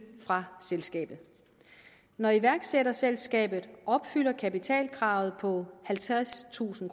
fra selskabet når iværksætterselskabet opfylder kapitalkravet på halvtredstusind